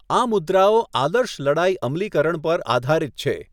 આ મુદ્રાઓ આદર્શ લડાઈ અમલીકરણ પર આધારિત છે.